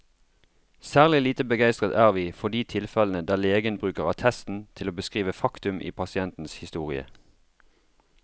Særlig lite begeistret er vi for de tilfellene der legen bruker attesten til å beskrive faktum i pasientens historie.